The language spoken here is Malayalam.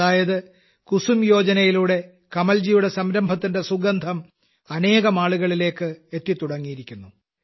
അതായത് കുസുമ് യോജനയിലൂടെ കമൽജിയുടെ സംരംഭത്തിന്റെ സുഗന്ധം അനേകം ആളുകളിലേക്ക് എത്തിത്തുടങ്ങിയിരിക്കുന്നു